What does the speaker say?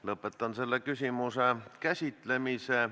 Lõpetan selle küsimuse käsitlemise.